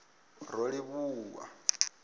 rolivhuwa